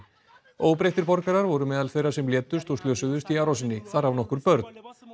óbreyttir borgarar voru meðal þeirra sem létust og slösuðust í árásinni þar af nokkur börn